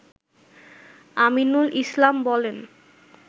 আমিনুল ইসলাম বলেন